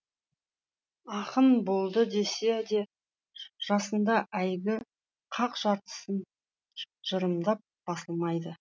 ақын болды десе де жасында әйгі қақ жартысын жырымның басылмайды